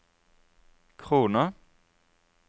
kroner